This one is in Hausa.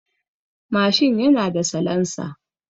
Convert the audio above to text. Mashin yana da salansa.